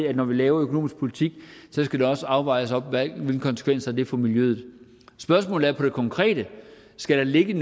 at når vi laver økonomisk politik så skal det også overvejes hvilke konsekvenser det får for miljøet spørgsmålet er om det konkrete skal der ligge